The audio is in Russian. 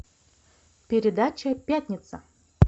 передача пятница